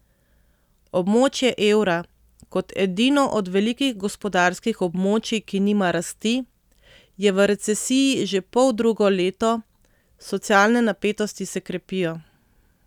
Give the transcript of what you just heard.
Območje evra kot edino od velikih gospodarskih območij, ki nima rasti, je v recesiji že poldrugo leto, socialne napetosti se krepijo.